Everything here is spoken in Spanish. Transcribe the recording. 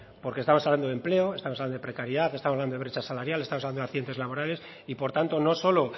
porque estamos hablando de empleo estamos hablando de precariedad estamos hablando de brecha salarial estamos hablando de accidentes laborales y por tanto no solo